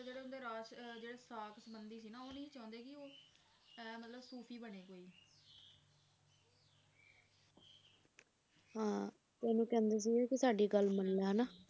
ਹਾਂ ਉਹਨੂੰ ਕਹਿੰਦੇ ਸੀਗੇ ਸਾਡੀ ਗੱਲ ਮੰਨਲਾ ਹਨਾਂ